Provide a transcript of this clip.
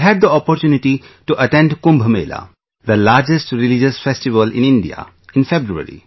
I had the opportunity to attend Kumbh Mela, the largest religious festival in India, in February